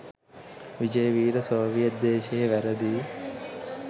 Wijeweera Soviet දේශයේ වැරදි